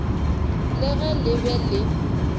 le ge le be le